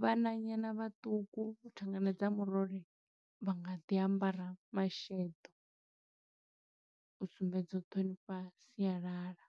Vhananyana vhaṱuku thangana dza murole, vha nga ḓi ambara masheḓo, u sumbedza u ṱhonifha sialala.